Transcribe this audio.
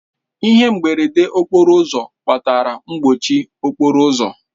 Ihe mberede okporo ụzọ kpatara mkpọchi okporo ụzọ.